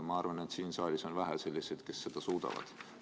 Ma arvan, et siin saalis on selliseid, kes seda suudavad, vähe.